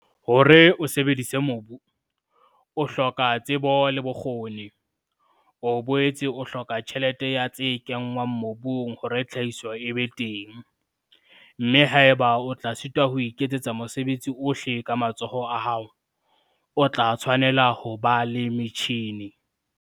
Hore o sebedise mobu, o hloka tsebo le bokgoni, o boetse o hloka tjhelete ya tse kenngwang mobung hore tlhahiso e be teng, mme haeba o tla sitwa ho iketsetsa mosebetsi ohle ka matsoho a hao, o tla tshwanela ho ba le metjhine.